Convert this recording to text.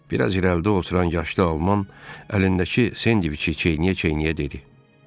Bir az irəlidə oturan yaşlı alman əlindəki sendviçi çiynə-çiynə dedi.